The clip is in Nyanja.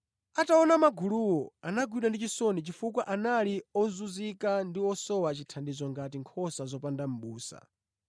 Ataona maguluwo, anagwidwa ndi chisoni chifukwa anali ozunzika ndi osowa chithandizo ngati nkhosa zopanda mʼbusa.